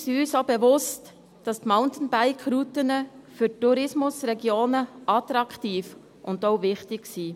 Wir sind uns auch bewusst, dass die Mountainbike-Routen für die Tourismusregionen attraktiv und auch wichtig sind.